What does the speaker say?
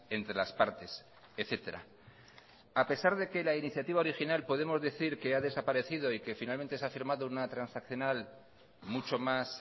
entre las partes etcétera a pesar de que la iniciativa original podemos decir que ha desaparecido y que finalmente se ha firmado una transaccional mucho más